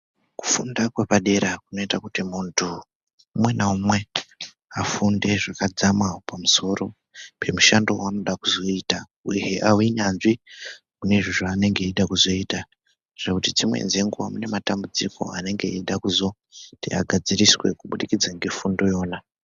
Kufunda kwepadera kunoita kuti muntu umwe naumwe afunde zvakadzama pamusoro pemushando waanoda kuzoita uyehe ave nyanzvi kune izvo zvaanenge eida kuzoita kuti dzimweni dzenguwa pane matambudziko anenge eizoda kugadziriswa kubudikidza ngefundo iyona.